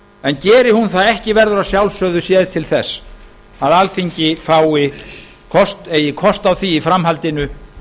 en geri hún það ekki verður að sjálfsögðu séð til þess að alþingi eigi kost á því í framhaldinu